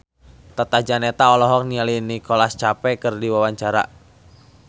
Tata Janeta olohok ningali Nicholas Cafe keur diwawancara